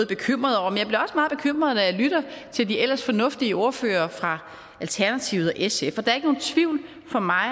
bekymret når jeg lytter til de ellers fornuftige ordførere fra alternativet og sf for der er ikke nogen tvivl for mig